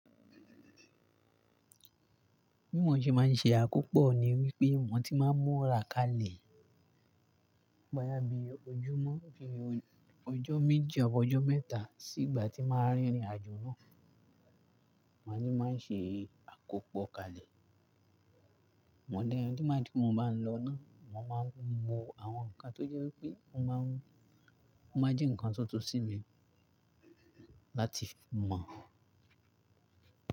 Bí mo ṣe máa ń ṣe àkópọ̀ ni wípé mo ti máa ń múra kalẹ̀ boya bii ojúmọ́, bíi ọjọ́ méji abi ọjọ́ mẹ́ta sí ìgbà tí màá rìn ìrìnàjò náà. Mo ní màá n ṣe àkópọ̀ kalẹ̀. Mo dẹ́rù dí má di pè tí mo bá ń lọ náà, mo máa ń mu àwọn nǹkan tó jẹ́ wípé mo máa ń, mo máa jí nǹkan sóto sí mi láti fi mọ̀